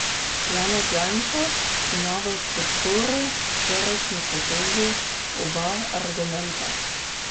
Janez Janša ima v podporo včerajšnji potezi oba argumenta.